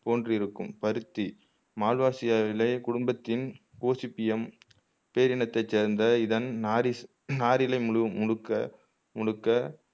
போன்றிருக்கும் பருத்தி மால்வாசியாவிலே குடும்பத்தின் கோசிப்பியம் பேரினத்தை சேர்ந்த இதன் நாரிஸ் நாரிழை முழு முழுக்க முழுக்க